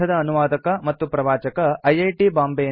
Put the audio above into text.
ಈ ಪಾಠದ ಅನುವಾದಕ ಮತ್ತು ಪ್ರವಾಚಕ ಐಐಟಿ